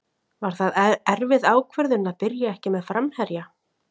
Var það erfið ákvörðun að byrja ekki með framherja?